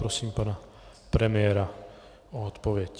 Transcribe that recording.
Prosím pana premiéra o odpověď.